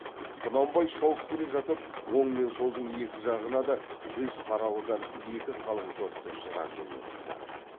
құнанбай шауып келе жатып оң мен солдың екі жағына да жүз қаралыдан екі қалың топты жыра жөнелтті